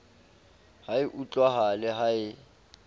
ha e utlwahale ha e